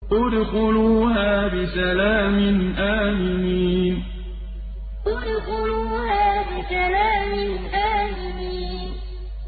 ادْخُلُوهَا بِسَلَامٍ آمِنِينَ ادْخُلُوهَا بِسَلَامٍ آمِنِينَ